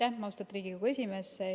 Aitäh, austatud Riigikogu esimees!